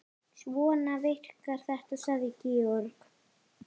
Svona virkar þetta, sagði Georg.